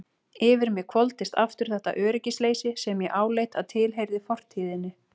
Yfir mig hvolfdist aftur þetta öryggisleysi sem ég áleit að tilheyrði fortíðinni.